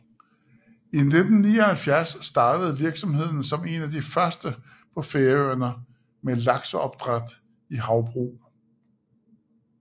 I 1979 startede virksomheden som en af de første på Færøerne med lakseopdræt i havbrug